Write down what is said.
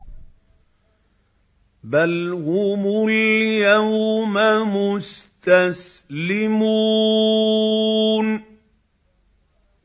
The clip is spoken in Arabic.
بَلْ هُمُ الْيَوْمَ مُسْتَسْلِمُونَ